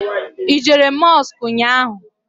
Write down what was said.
I jere Mọsk nnyaa?